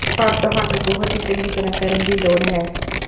ਪਰ ਤੁਹਾਨੂੰ ਬਹੁਤ ਹੀ ਚੰਗੀ ਤਿਆਰ ਕਰਨ ਦੀ ਲੋੜ ਹੈ